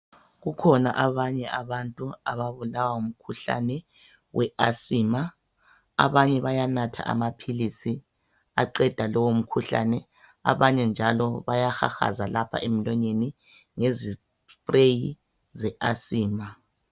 Kukhona abanye abantu ababulawa ngumkhuhlane we asima abanye bayanatha amaphilisi aqeda lowo mkhuhlane abanye njalo byahahaza lapha emlonyeni ngezi spray ze asima.